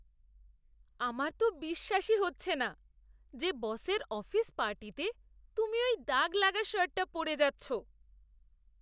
আমার তো বিশ্বাসই হচ্ছে না যে বসের অফিস পার্টিতে তুমি ওই দাগ লাগা শার্টটা পরে যাচ্ছ।